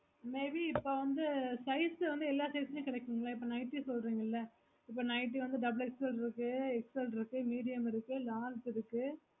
may be இப்போ வந்து size வந்து எல்லா size மே கெடைக்கும்கள்ல இப்போ nighties சொல்லறீங்களா இப்போ nightly வந்து double XL இருக்கு XL இருக்கு medium இருக்கு large இருக்கு